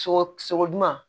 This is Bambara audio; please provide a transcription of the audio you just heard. Sɔgɔ sɔgɔ juman